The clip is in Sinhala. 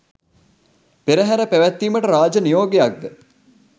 පෙරහර පැවැත්වීමට රාජ නියෝගයක් ද